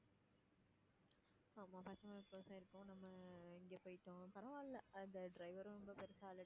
ஆமா பச்சைமலை close ஆயிருக்கவும் நம்ம இங்க போயிட்டோம் பரவாயில்லை அந்த driver உம் ஒண்ணும் பெருசா